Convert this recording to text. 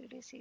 ತಿಳಿಸಿ